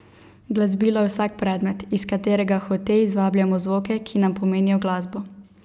Glasbilo je vsak predmet, iz katerega hote izvabljamo zvoke, ki nam pomenijo glasbo.